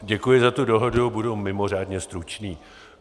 Děkuji za tu dohodu, budu mimořádně stručný.